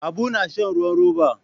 Habu na shan ruwan roba.